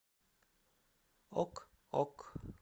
ок ок